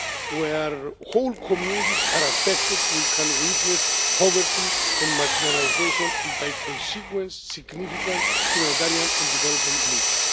Where whole communities are affected we can witness poverty and marginalisation and, as a consequence, significant humanitarian and development needs.